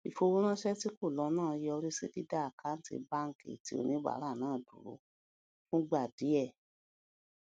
ìfowóránṣẹ tí kò lọ náà yọrí sí dídá àkáǹtì báńkì ti oníbàárà náà dúró fúngbà díẹ